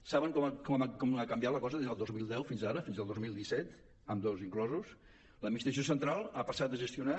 saben com ha canviat la cosa des del dos mil deu fins ara fins al dos mil disset ambdós inclosos l’administració central ha passat de gestionar